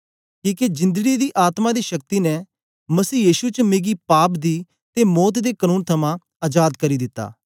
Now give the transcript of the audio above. किके जिंदड़ी दी आत्मा दी शक्ति ने मसीह यीशु च मिगी पाप दी ते मौत दे कनून थमां अजाद करी दिता